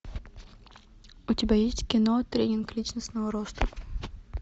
у тебя есть кино тренинг личностного роста